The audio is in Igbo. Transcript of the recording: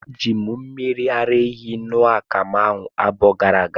Eji m mmiri ara ehi ṅụọ akamu awa abụọ gara aga.